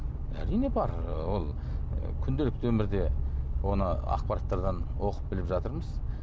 әрине бар ы ол күнделікті өмірде оны ақпараттардан оқып біліп жатырмыз